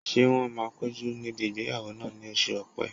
Ṣé wọ́n máa péjú níbi ìgbéyàwó náà ní oṣù ọ̀pẹ́?